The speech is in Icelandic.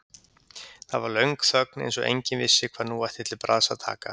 Það var löng þögn eins og enginn vissi hvað nú ætti til bragðs að taka.